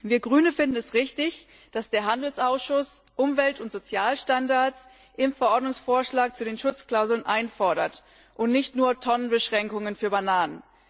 Wir Grüne finden es richtig, dass der Handelsausschuss Umwelt und Sozialstandards im Verordnungsvorschlag zu den Schutzklauseln einfordert und nicht nur Tonnenbeschränkungen für Bananen.